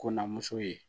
Kɔnna muso ye